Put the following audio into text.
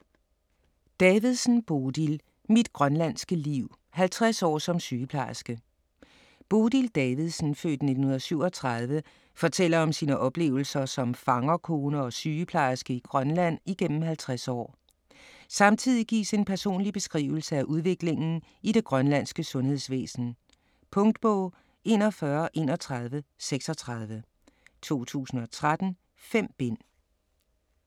Davidsen, Bodil: Mit grønlandske liv: 50 år som sygeplejerske Bodil Davidsen (f. 1937) fortæller om sine oplevelser som fangerkone og sygeplejerske i Grønland igennem 50 år. Samtidig gives en personlig beskrivelse af udviklingen i det grønlandske sundhedsvæsen. Punktbog 413136 2013. 5 bind.